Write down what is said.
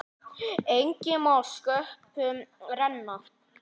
Enginn má sköpum renna.